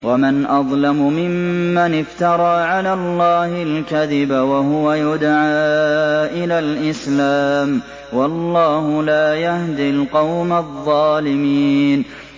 وَمَنْ أَظْلَمُ مِمَّنِ افْتَرَىٰ عَلَى اللَّهِ الْكَذِبَ وَهُوَ يُدْعَىٰ إِلَى الْإِسْلَامِ ۚ وَاللَّهُ لَا يَهْدِي الْقَوْمَ الظَّالِمِينَ